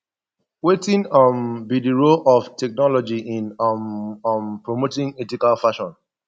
wetin um be di role of technology in um um promoting ethical fashion